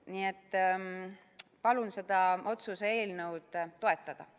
Nii et palun seda otsuse eelnõu toetada!